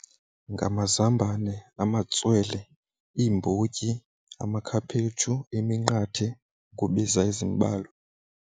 Ngamazambane, amatswele, iimbotyi, amakhaphetshu, iminqathe ukubiza ezimbalwa.